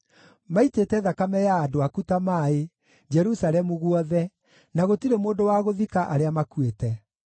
Maitĩte thakame ya andũ aku ta maaĩ Jerusalemu guothe, na gũtirĩ mũndũ wa gũthika arĩa makuĩte.